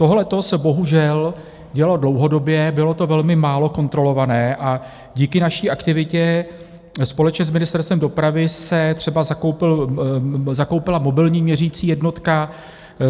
Tohleto se bohužel dělo dlouhodobě, bylo to velmi málo kontrolované a díky naší aktivitě společně s Ministerstvem dopravy se třeba zakoupila mobilní měřicí jednotka.